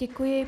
Děkuji.